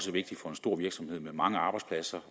vigtig for en stor virksomhed med mange arbejdspladser